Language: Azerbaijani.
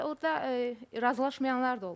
Deməli orda razılaşmayanlar da olub.